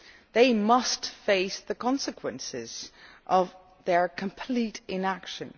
They must face the consequences of their complete inaction.